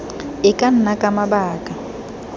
e ka nna ka mabaka